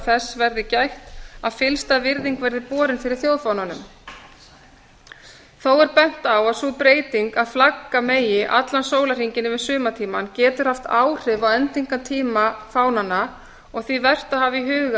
þess verði gætt að fyllsta virðing verði borin fyrir þjóðfána þó er bent á að sú breyting að flagga megi allan sólarhringinn yfir sumartímann getur haft áhrif á endingartíma fánanna og því vert að hafa í huga